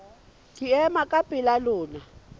ke ema ka pela lona